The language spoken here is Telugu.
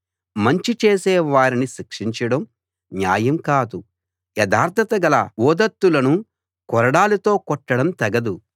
మంచి చేసే వారిని శిక్షించడం న్యాయం కాదు యథార్థత గల ఉదాత్తులను కొరడాలతో కొట్టడం తగదు